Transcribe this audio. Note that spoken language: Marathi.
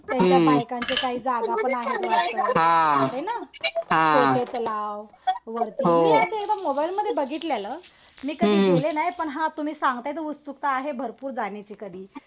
त्यांच्या बायकांच्या काही जागा पण आहे वाटतं. है ना. छोटे तलाव वरती. मी असं मोबाईलमध्ये बघितलेलं. मी कधी गेले नाही. पण हा तुम्ही सांगताय तर उत्सुकता आहे भरपूर जाण्याची कधी .